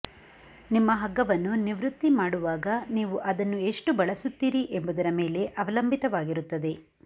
ನಿಮ್ಮ ಹಗ್ಗವನ್ನು ನಿವೃತ್ತಿ ಮಾಡುವಾಗ ನೀವು ಅದನ್ನು ಎಷ್ಟು ಬಳಸುತ್ತೀರಿ ಎಂಬುದರ ಮೇಲೆ ಅವಲಂಬಿತವಾಗಿರುತ್ತದೆ